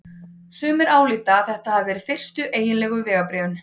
Sumir álíta að þetta hafi verið fyrstu eiginlegu vegabréfin.